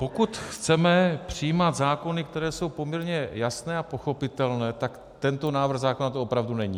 Pokud chceme přijímat zákony, které jsou poměrně jasné a pochopitelné, tak tento návrh zákona to opravdu není.